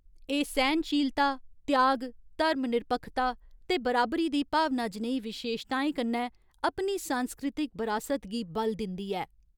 एह् सैह्नशीलता, त्याग, धर्मनिरपक्खता ते बराबरी दी भावना जनेही विशेशताएं कन्नै अपनी सांस्कृतिक बरासत गी बल दिंदी ऐ।